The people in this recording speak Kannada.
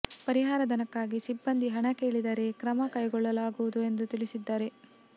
ಪರಿಹಾರ ಧನಕ್ಕಾಗಿ ಸಿಬ್ಬಂದಿ ಹಣ ಕೇಳಿದರೆ ಕ್ರಮ ಕೈಗೊಳ್ಳಲಾಗುವುದು ಎಂದು ತಿಳಿಸಿದ್ದಾರೆ